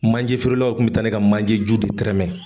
Manje feerelaw kun bɛ taa ne ka manje ju de tɛrɛmɛ.